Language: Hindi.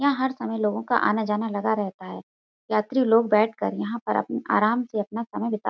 यहाँ हर समय लोगों का आना जाना लगा रहता है। यात्री लोग बैठकर यहाँ पर अपं आराम से अपना समय बिता --